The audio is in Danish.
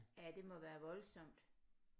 Ja det må være voldsomt